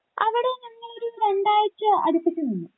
അവിടെ ഞങ്ങൾ ഒരു രണ്ടാഴ്ച അടുപ്പിച്ച് നിന്നു.